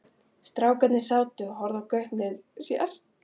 Strákarnir sátu og horfðu í gaupnir sér.